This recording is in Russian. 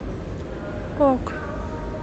ок